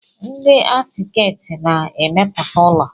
Ndị akitẹkti na-emepụta ụlọ.